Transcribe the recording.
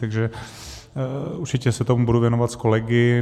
Takže určitě se tomu budu věnovat s kolegy.